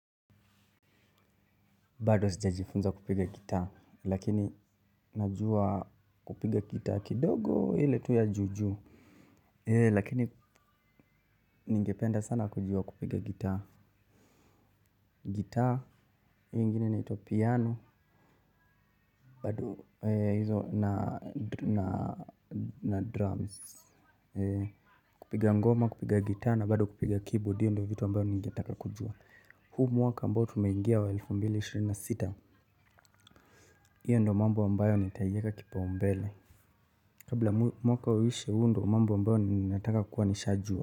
Bado sija jifunza kupiga guitar lakini najua kupiga guitar kidogo hile tu ya jujuu. Lakini ningependa sana kujua kupiga guitar Guitar, hiyo ingine inaitwa piano. Bado hizo na drums. Kupiga ngoma kupiga guitar na bado kupiga keyboard hiyo ndo vitu ambayo ningetaka kujua. Huu mwaka ambayo tumeingia wa elfu mbili na ishirini na sita hiyo ndo mambo ambayo nitaiyeka kipaumbele. Kabla mwaka uishe huo ndo mambo ambayo ninataka kuwa nishajua.